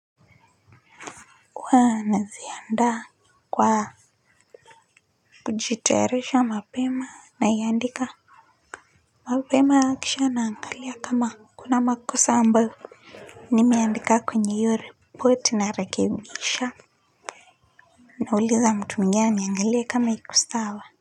Huwa najiandaa kwa kujitayarisha mapema na iandika mapema kisha naangalia kama kuna makosa ambayo nimeandika kwenye hiyo ripoti narekebisha nauliza mtu mwingine aiangalie kama iko sawa.